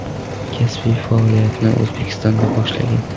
Kasbiy faoliyatini O‘zbekistonda boshlagan.